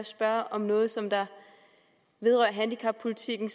spørge om noget som vedrører handicappolitikken